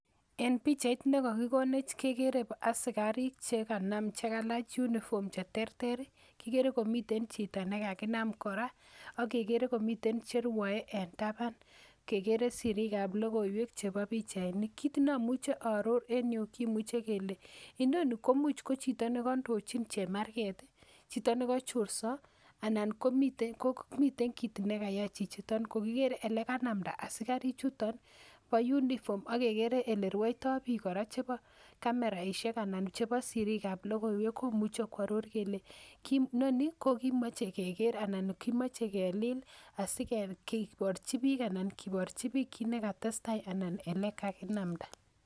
Eng pikchait ne kakikonech kekere askarik che Kailach uniform che terter kigeren komiten chiro nekakinam kora akegeren komiten cherwoei eng taban kegeren sirik ab lokoiwek chebo pichainik let nemuch aaror eng Yu kemuche kele nitoni komuch ko chiro nekaindochin chemarget, chiro nekachorso anan komitei kit nekayai chichiton kokiger ale kanamda askari chuto bo uniform akegeren ale rwoiton bik Koran chebo kameraishekanan chebo sirik ab lokoiwek komuchei kearor kele kimachei keker anan kimachei kelil asikeborchi bik kit nekatestai